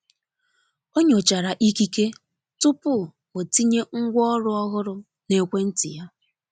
onyochara ikike tụpụ o tinye ngwa ọrụ ọhụrụ na ekwenti ya